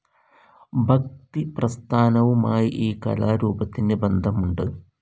ഭക്തിപ്രസ്ഥാനവുമായി ഈ കലാരൂപത്തിന് ബന്ധമുണ്ട്.